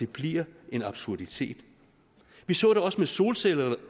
bliver en absurditet vi så det også med solcellerne